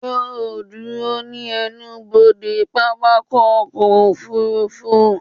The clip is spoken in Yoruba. Yóò ó dúró ní ẹnubodè pápákọ̀ ọkọ̀ òfurufú